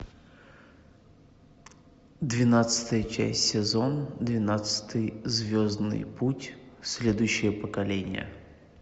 двенадцатая часть сезон двенадцатый звездный путь следующее поколение